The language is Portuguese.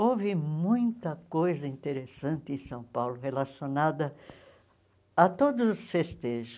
Houve muita coisa interessante em São Paulo relacionada a todos os festejos.